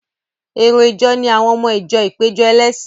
Èrò ìjọ ni àwọn ọmọ ìjọ ìpéjọ ẹlẹ́sìn.